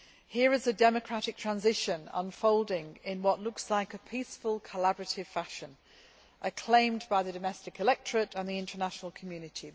Here is a democratic transition unfolding in what looks like a peaceful, collaborative fashion, acclaimed by the domestic electorate and the international community.